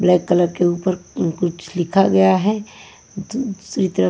Black colour के ऊपर कुछ लिखा गया है।